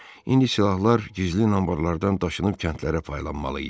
İndi silahlar gizli anbarlardan daşınıb kəndlərə paylanmalı idi.